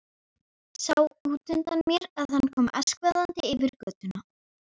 Sá útundan mér að hann kom askvaðandi yfir götuna.